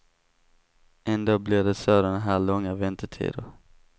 Ändå blir det sådana här långa väntetider.